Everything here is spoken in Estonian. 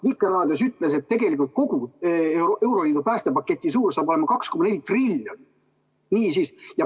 Vikerraadios öeldi, et tegelikult hakkab kogu euroliidu päästepaketi suurus olema 2,4 triljonit.